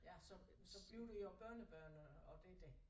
Ja så så bliver det jo børnebørn og og det det